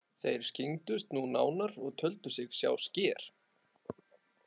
Þeir skyggndust nú nánar og töldu sig sjá sker.